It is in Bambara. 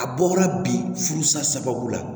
A bɔla bi furu sa sababu la